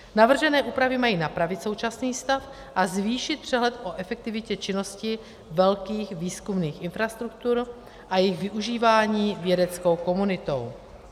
Navržené úpravy mají napravit současný stav a zvýšit přehled o efektivitě činnosti velkých výzkumných infrastruktur a jejich využívání vědeckou komunitou.